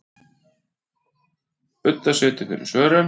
Budda situr fyrir svörum.